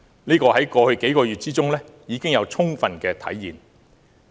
在過去數個月中，這已充分體現。